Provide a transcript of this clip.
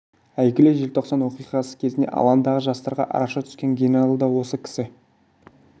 әйгілі желтоқсан оқиғасы кезінде алаңдағы жастарға араша түскен генерал да осы кісі